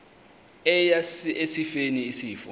eya esifeni isifo